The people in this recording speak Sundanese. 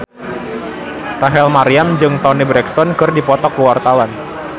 Rachel Maryam jeung Toni Brexton keur dipoto ku wartawan